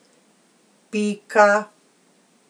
Pika.